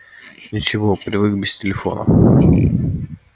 ничего привык без телефона